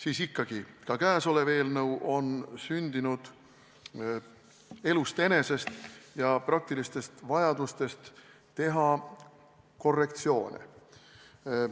Aga ikkagi ka käesolev eelnõu on sündinud elust enesest ja praktilistest vajadustest teha korrektsioone.